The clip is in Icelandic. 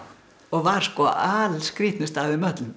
og var sko alskrýtnust af þeim öllum